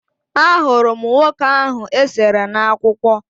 Ahụrụ m nwoke ahụ e sere n'akwụkwọ